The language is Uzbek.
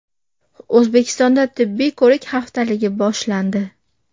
O‘zbekistonda tibbiy ko‘rik haftaligi boshlandi.